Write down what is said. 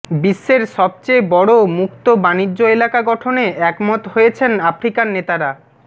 বিশ্বের সবচেয়ে বড় মুক্ত বাণিজ্য এলাকা গঠনে একমত হয়েছেন আফ্রিকার নেতারা